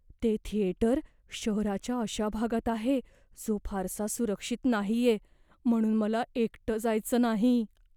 ते थिएटर शहराच्या अशा भागात आहे जो फारसा सुरक्षित नाहीये, म्हणून मला एकटं जायचं नाही.